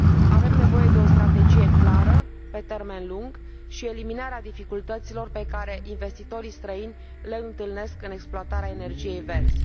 Este necesară o strategie clară pe termen lung și eliminarea dificultăților pe care investitorii străini le întâlnesc în exploatarea energiei verzi.